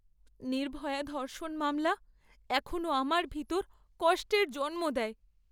নির্ভয়া ধর্ষণ মামলা এখনও আমার ভিতর কষ্টের জন্ম দেয়।